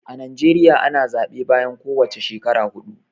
A Najeriya ana zaɓe bayan ko wace shekara huɗu.